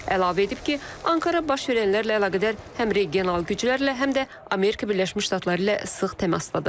Əlavə edib ki, Ankara baş verənlərlə əlaqədar həm regional güclərlə, həm də Amerika Birləşmiş Ştatları ilə sıx təmasdadır.